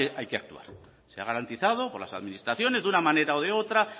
hay que actuar se ha garantizado por las administraciones de una manera o de otra